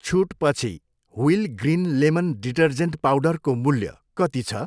छुटपछि wheel green lemon detergent पाउडरको मूल्य कति छ?